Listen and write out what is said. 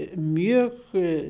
mjög